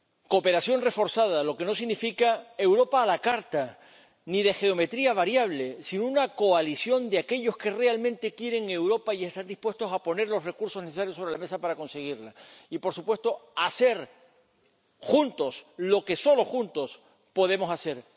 Cooperación reforzada, lo que no significa Europa a la carta ni de geometría variable, sino una coalición de aquellos que realmente quieren Europa y están dispuestos a poner los recursos necesarios sobre la mesa para conseguirla. Y, por supuesto, hacer juntos lo que solo juntos podemos hacer.